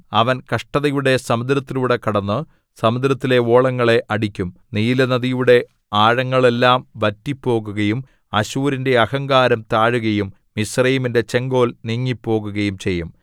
അവൻ കഷ്ടതയുടെ സമുദ്രത്തിലൂടെ കടന്നു സമുദ്രത്തിലെ ഓളങ്ങളെ അടിക്കും നീലനദിയുടെ ആഴങ്ങളെല്ലാം വറ്റിപ്പോകുകയും അശ്ശൂരിന്റെ അഹങ്കാരം താഴുകയും മിസ്രയീമിന്റെ ചെങ്കോൽ നീങ്ങിപ്പോകുകയും ചെയ്യും